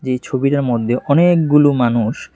এই ছবিটার মধ্যে অনেকগুলো মানুষ।